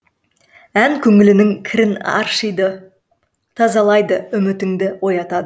ән көңіліңнің кірін аршидып тазалайды үмітіңді оятады